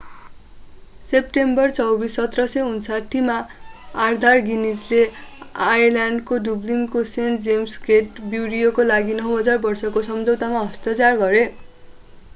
September 24 1759 मा Arthur गिनीजले आयरल्याण्डको डुब्लिनको सेण्ट जेम्स गेट ब्रुअरीका लागि 9,000 वर्षको सम्झौतामा हस्ताक्षर गरे